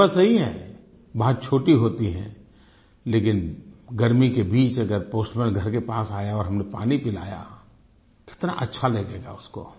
ये बात सही है बात छोटी होती है लेकिन गर्मी के बीच अगर पोस्टमैन घर के पास आया और हमने पानी पिलाया कितना अच्छा लगेगा उसको